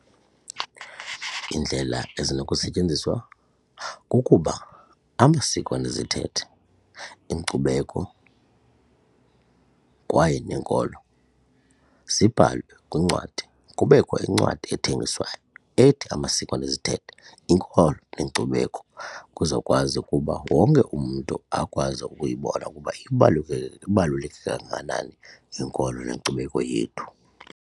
Iindlela ezinokusetyenziswa kukuba amasiko nezithethe, inkcubeko kwaye nenkolo zibhalwe kwincwadi kubekho incwadi ethengiswayo ethi Amasiko Nezithethe Iinkolo Neenkcubeko, kuzokwazi ukuba wonke umntu akwazi ukuyibona ukuba ibaluleke kangakanani inkolo nenkcubeko yethu.